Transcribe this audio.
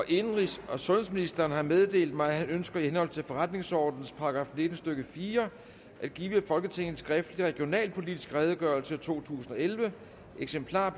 indenrigs og sundhedsministeren har meddelt mig at han ønsker i henhold til forretningsordenens § nitten stykke fire at give folketinget en skriftlig regionalpolitisk redegørelse totusinde og ellevte eksemplarer